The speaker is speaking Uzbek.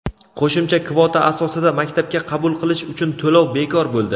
Qo‘shimcha kvota asosida maktabga qabul qilish uchun to‘lov bekor bo‘ldi.